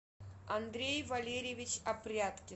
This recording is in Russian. андрей валерьевич апряткин